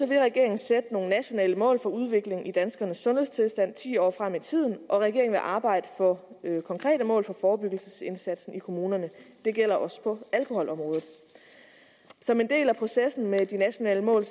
vil regeringen sætte nogle nationale mål for udviklingen i danskernes sundhedstilstand ti år frem i tiden og regeringen vil arbejde for konkrete mål for forebyggelsesindsatsen i kommunerne det gælder også på alkoholområdet som en del af processen med de nationale mål